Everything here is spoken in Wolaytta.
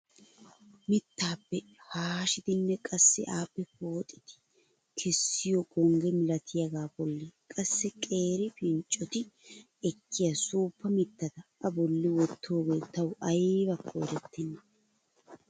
Mittaappe haashshidinne qassi appe pooxidi kessiyoo gongge milatiyaagaa bolli qassi qeeri pinccoti ekkiyaa suuppa mittata a bolli wottidoogee tawu aybakka erettena!